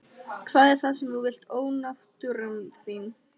Hvað er það sem þú vilt ónáttúran þín?